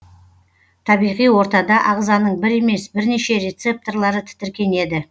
табиғи ортада ағзаның бір емес бірнеше рецептарлары тітіркенеді